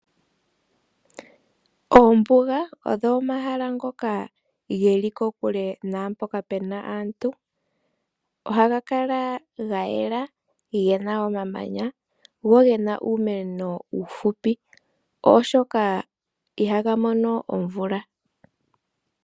Oombuga odho omahala ngoka geli kokule naampoka pena aantu. Oha ga kala ga yela gena omamanya, gena uumeno uufupi, oshoka ihaga mono omvula.